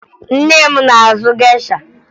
Nne m na-azụ gesha